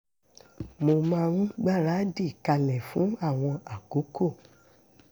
mo máa ń gbáradì kalẹ̀ fún àwọn àkókò